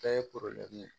Bɛɛ ye ye